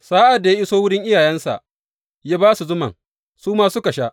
Sa’ad da ya iso wurin iyayensa, ya ba su zuman, su ma suka sha.